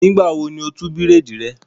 Nígbà wo ni o tú bírèèdì rẹ?